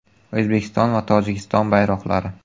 O‘zbekiston va Tojikiston bayroqlari.